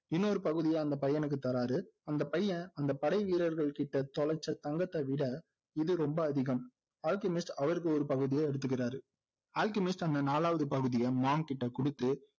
இன்னொரு பகுதியை அந்த பையனுக்கு தர்றாரு அந்த பையன் அந்த படை வீரர்கள் கிட்ட தொலைச்ச தங்கத்தை விட இது ரொம்ப அதிகம் அல்கெமிஸ்ட் அவருக்கு ஒரு பகுதியை எடுத்துக்கிறாரு அல்கெமிஸ்ட் அந்த நாலாவது பகுதியை monk கிட்ட குடுத்து